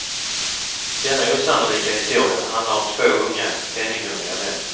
Denna osannolika historia handlar om två unga, penninghungriga män.